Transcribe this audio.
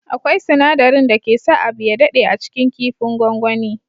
Akwai sinadarin dake sa abu ya dade a cikin kifin gwagwani.